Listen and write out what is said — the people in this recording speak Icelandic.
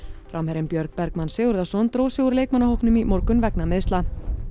framherjinn Björn Bergmann Sigurðarson dró sig úr leikmannahópnum í morgun vegna meiðsla